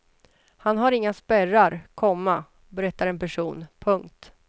Han har inga spärrar, komma berättar en person. punkt